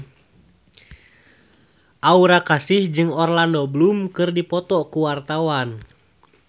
Aura Kasih jeung Orlando Bloom keur dipoto ku wartawan